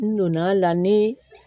N donn'a la ni